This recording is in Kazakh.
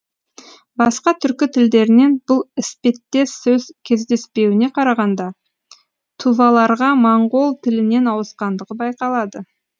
басқа түркі тілдерінен бұл іспеттес сөз кездеспеуіне қарағанда туваларға моңғол тілінен ауысқандығы байқалады